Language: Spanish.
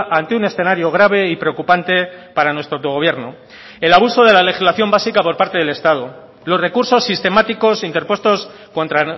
ante un escenario grave y preocupante para nuestro autogobierno el abuso de la legislación básica por parte del estado los recursos sistemáticos interpuestos contra